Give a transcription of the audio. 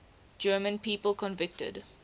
german people convicted